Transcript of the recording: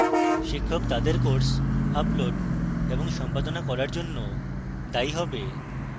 শিক্ষক তাদের course upload এবং সম্পাদনা করার জন্য দায়ী হবে